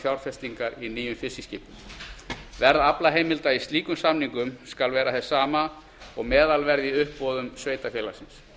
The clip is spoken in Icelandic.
fjárfestingar í nýjum fiskiskipum verð aflaheimilda í slíkum samningum skal vera hið sama og meðalverð í uppboðum sveitarfélagsins